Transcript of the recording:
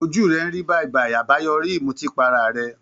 Ojú rẹ̀ ń rí bàìbàì, àbáyoríi ìmutípara rẹ̀